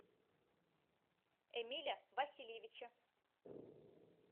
эмиля васильевича